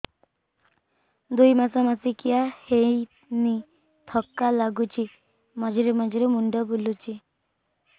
ଦୁଇ ମାସ ମାସିକିଆ ହେଇନି ଥକା ଲାଗୁଚି ମଝିରେ ମଝିରେ ମୁଣ୍ଡ ବୁଲୁଛି